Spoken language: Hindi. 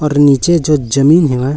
और नीचे जो जमीन है--